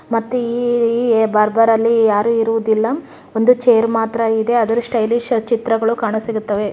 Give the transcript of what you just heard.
ಮತ್ತೆ ಈ ಈ ಬಾರ್ಬರ್ ಅಲ್ಲಿ ಯಾರು ಇರುವುದಿಲ್ಲ ಒಂದು ಚೇರ್ ಮಾತ್ರ ಇದೆ ಅದ್ರು ಸ್ಟೈಲಿಶ್ ಚಿತ್ರಗಳು ಕಾಣಸಿಗುತ್ತವೆ.